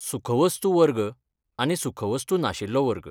सुखवस्तू वर्ग आनी सुखवस्तू नाशिल्लो वर्ग.